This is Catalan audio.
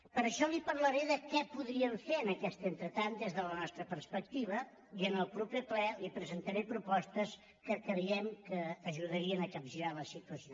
per això li parlaré de què podríem fer en aquest entretant des de la nostra perspectiva i en el proper ple li presentaré propostes que creiem que ajudarien a capgirar la situació